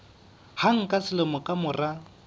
hang ka selemo ka mora